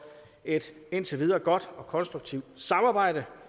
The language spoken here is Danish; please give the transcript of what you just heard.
et indtil videre godt og konstruktivt samarbejde